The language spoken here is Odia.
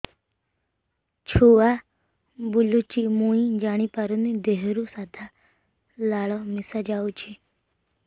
ଛୁଆ ବୁଲୁଚି ମୁଇ ଜାଣିପାରୁନି ଦେହରୁ ସାଧା ଲାଳ ମିଶା ଯାଉଚି